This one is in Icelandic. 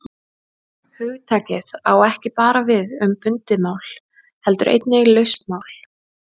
Hugtakið á ekki bara við um bundið mál heldur einnig laust.